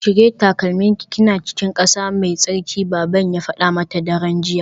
Cire takalminki kina cikin kasa mai tsarki baban ya fada mata daren jiya